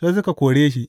Sai suka kore shi.